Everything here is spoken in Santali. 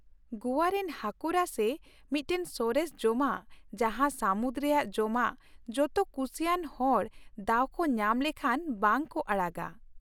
ᱜᱚᱣᱟ ᱨᱮᱱ ᱦᱟᱹᱠᱩ ᱨᱟᱥᱮ ᱢᱤᱫᱴᱟᱝ ᱥᱚᱨᱮᱥ ᱡᱚᱢᱟᱜ ᱡᱟᱦᱟᱸ ᱥᱟᱹᱢᱩᱫ ᱨᱮᱭᱟᱜ ᱡᱚᱢᱟᱜ ᱡᱚᱛᱚ ᱠᱩᱥᱤᱭᱟᱱ ᱦᱚᱲ ᱫᱟᱣ ᱠᱚ ᱧᱟᱢ ᱞᱮᱠᱷᱟᱱ ᱵᱟᱝ ᱠᱚ ᱟᱲᱟᱜᱟ ᱾